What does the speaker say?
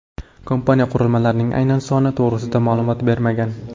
Kompaniya qurilmalarning aynan soni to‘g‘risida ma’lumot bermagan.